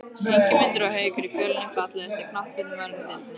Ingimundur og Haukur í Fjölni Fallegasti knattspyrnumaðurinn í deildinni?